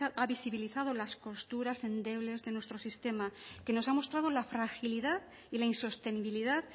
ha visibilizado las costuras endebles de nuestro sistema que nos ha mostrado la fragilidad y la insostenibilidad